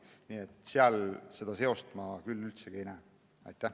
Nii et seda seost ma küll sugugi ei näe.